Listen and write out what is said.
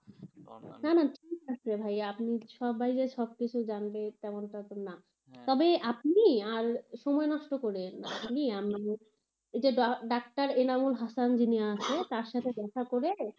না না ঠিক আছে ভাইয়া সবাই যে সব কিছু জানবে তেমনটা তো না, তবে আপনি আর সময় নষ্ট করিয়েন না, আমি ওই যে ডাক্তার এনামুল হাসান যিনি আছেন তার সাথে দেখা করে,